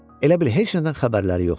Elə bil heç nədən xəbərləri yoxdur.